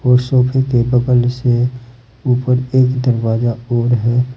उस सोफे के बगल से ऊपर एक दरवाजा और है।